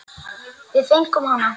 Við fengum hana!